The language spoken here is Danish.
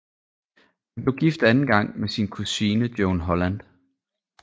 Han blev gift anden gang med sin kusine Joan Holland